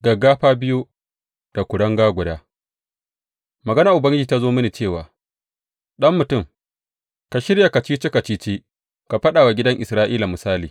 Gaggafa biyu da kuringa guda Maganar Ubangiji ta zo mini cewa, Ɗan mutum, ka shirya kacici kacici ka faɗa wa gidan Isra’ila misali.